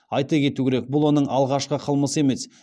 айта кету керек бұл оның алғашқы қылмысы емес